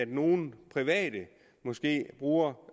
nogle private måske bruger